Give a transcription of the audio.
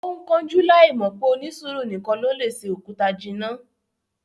Ó ń kánjú láì mọ̀ pé "onísùúrù nìkan ló lè se òkúta jinná"